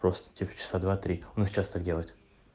просто тех часа два три он их часто делает